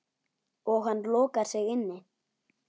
Og hann lokar sig inni.